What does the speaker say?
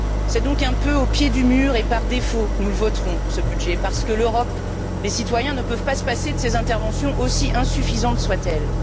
C'est donc un peu au pied du mur et par défaut que nous voterons ce budget, parce que l'Europe, les citoyens ne peuvent pas se passer de ses interventions, aussi insuffisantes soient elles.